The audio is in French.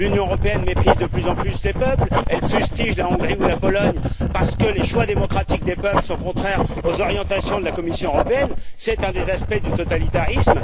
L'Union européenne méprise de plus en plus les peuples, elle fustige la Hongrie ou la Pologne, parce que les choix démocratiques des peuples sont contraires aux orientations de la Commission européenne, c'est un des aspects du totalitarisme.